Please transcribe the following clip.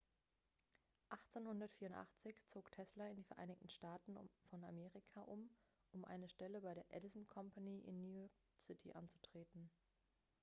1884 zog tesla in die vereinigten staaten von amerika um um eine stelle bei der edison company in new york city anzutreten